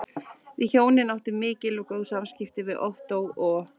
Við hjónin áttum mikil og góð samskipti við Ottó og